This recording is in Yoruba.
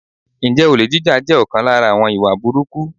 Ǹjẹ́ olè jíjà jẹ́ ọ̀kan lára àwọn ìwà búburú?